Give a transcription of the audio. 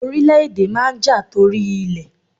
Orílẹ̀ èdè máa n ja tori ilẹ̀